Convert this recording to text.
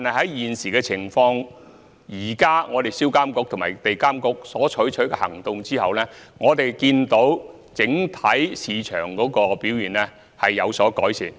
不過，現時的情況是，在銷監局和地監局採取行動後，我們看到整體市場的表現有所改善。